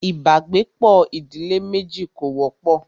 ibàgbepọ̀ ìdílé méjì kò wọ́pọ̀.